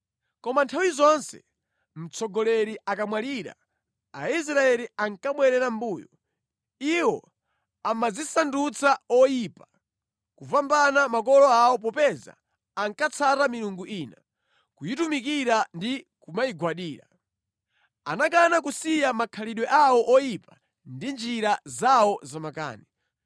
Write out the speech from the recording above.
Koma nthawi zonse mtsogoleri akamwalira, Aisraeli ankabwerera mʼmbuyo. Iwo amadzisandutsa oyipa kupambana makolo awo popeza ankatsata milungu ina, kuyitumikira ndi kumayigwadira. Anakana kusiya makhalidwe awo oyipa ndi njira zawo zamakani.